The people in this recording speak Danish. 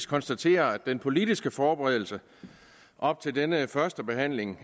konstatere at den politiske forberedelse op til denne førstebehandling